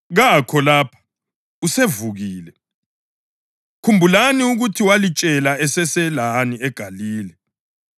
Kakho lapha; usevukile! Khumbulani ukuthi walitshelani eseselani eGalile: